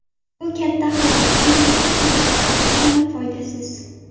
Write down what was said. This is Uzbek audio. Bu katta xato chunki bu samarasiz hamda foydasiz.